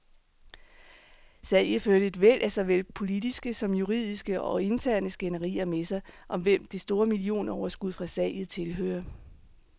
Salget førte et væld af såvel politiske som juridiske og interne skænderier med sig, om hvem det store millionoverskud fra salget tilhører.